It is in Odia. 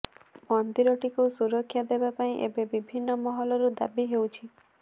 ମନ୍ଦିରଟିକୁ ସୁରକ୍ଷା ଦେବାପାଇଁ ଏବେ ବିଭିନ୍ନ ମହଲରୁ ଦାବି ହେଉଛି